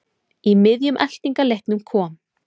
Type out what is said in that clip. Í miðjum eltingaleiknum kom